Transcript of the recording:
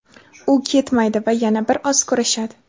u ketmaydi va yana bir oz kurashadi.